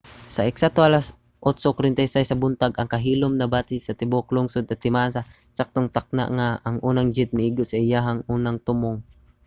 sa eksakto alas 8:46 sa buntag ang kahilom nabati sa tibuok lungsod timaan sa eksaktong takna nga ang unang jet miigo sa iyang unang tumong